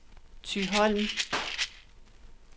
Thyholm